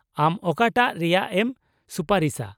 ᱟᱢ ᱚᱠᱟᱴᱟᱜ ᱨᱮᱭᱟᱜ ᱮᱢ ᱥᱩᱯᱟᱨᱤᱥᱟ ?